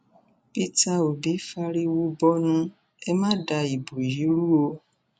peter òbí fìrìwò bọnu ẹ má da ìbò yìí rú o